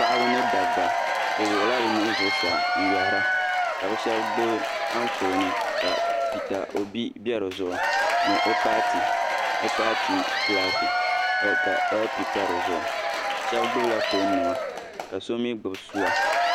Paɣaba ni dabba bi wuɣila bi nuhi zuɣusaa n yoihira ka bi shɛba gbubi anfooni ka Pita Obi bɛ di zuɣu ni o paati flaki ka LP pa di zuɣu shɛba gbubi la foon nima ka so mi gbubi sua